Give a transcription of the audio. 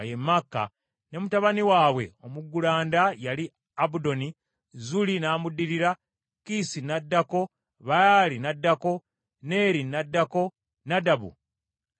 ne mutabani waabwe omuggulanda yali Abudoni, Zuuli n’amuddirira, Kiisi n’addako, Baali n’addako, Neeri n’addako, Nadabu n’addako,